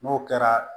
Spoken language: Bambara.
N'o kɛra